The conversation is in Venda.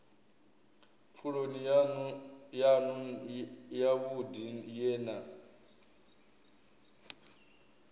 pfuloni yanu yavhudi ye na